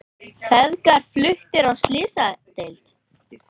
Feðgar fluttir á slysadeild